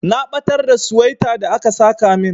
Na batar da suwaita da aka saka min.